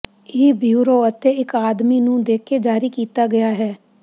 ਇਹ ਬਿਊਰੋ ਅਤੇ ਇੱਕ ਆਦਮੀ ਨੂੰ ਦੇ ਕੇ ਜਾਰੀ ਕੀਤਾ ਗਿਆ ਹੈ